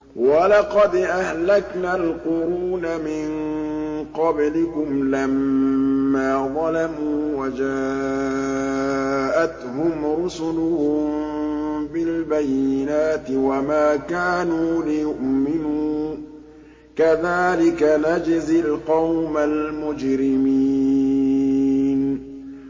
وَلَقَدْ أَهْلَكْنَا الْقُرُونَ مِن قَبْلِكُمْ لَمَّا ظَلَمُوا ۙ وَجَاءَتْهُمْ رُسُلُهُم بِالْبَيِّنَاتِ وَمَا كَانُوا لِيُؤْمِنُوا ۚ كَذَٰلِكَ نَجْزِي الْقَوْمَ الْمُجْرِمِينَ